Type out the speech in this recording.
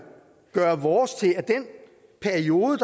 gøre vores til at den periode